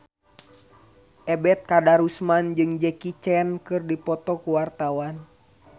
Ebet Kadarusman jeung Jackie Chan keur dipoto ku wartawan